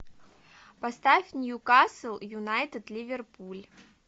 поставь ньюкасл юнайтед ливерпуль